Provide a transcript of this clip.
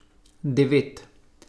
Devet.